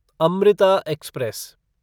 Amrita express